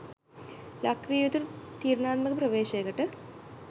ලක්විය යුතු තීරණාත්මක ප්‍රවේශයකට